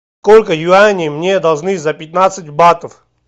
сколько юаней мне должны за пятнадцать батов